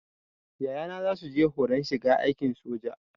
Yayana zasu je horon shiga aikin soja